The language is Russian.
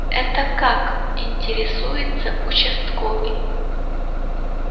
это как интересуется участковый